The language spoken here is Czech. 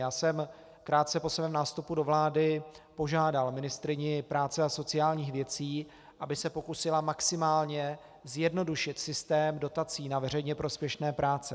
Já jsem krátce po svém nástupu do vlády požádal ministryni práci a sociálních věcí, aby se pokusila maximálně zjednodušit systém dotací na veřejně prospěšné práce.